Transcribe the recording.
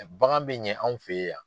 Bagan bɛ ɲɛ anw fe yan.